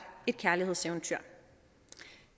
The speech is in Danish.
et kærlighedseventyr